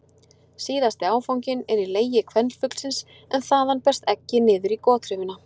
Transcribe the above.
Síðasti áfanginn er í legi kvenfuglsins en þaðan berst eggið niður í gotraufina.